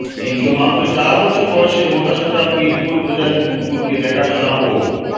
কিন্তু মাত্র চার বছর বয়সে মোটাসোটা পিটবুল প্রজাতির কুকুরকে দেখাশোনা ও